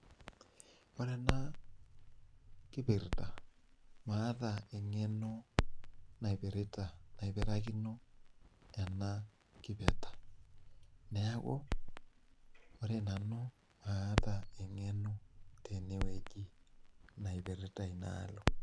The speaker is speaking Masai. Ore ena kipirta maata eng'eno napirita, naipirakino ena kipirta. Neeku ore nanu maata eng'eno tenewueji napirta inaalo